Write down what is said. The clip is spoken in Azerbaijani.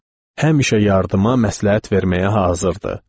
Həmişə yardıma, məsləhət verməyə hazır idi.